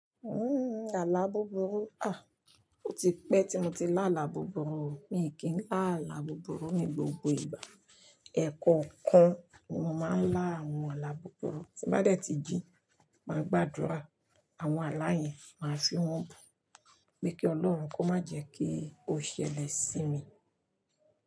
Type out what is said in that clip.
Uhm, àlá búburú? Ah, ó ti pẹ́ tí mo ti lá àlá búburú. Mi kì í lá àlá búburú ní gbogbo ìgbà. Ẹ̀ẹ̀kọ̀kan ni mo máa ń lá àwọn àlá búburú. Tí bá dẹ̀ tí jí, màá gbàdúrà. Àwọn àlá yẹn, màá fi wọ́n bù. Gbé kí Ọlọ́run kó má jẹ́ kí ó ṣẹlẹ̀ sí mi.